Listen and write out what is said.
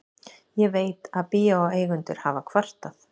Ég veit, að bíóeigendur hafa kvartað.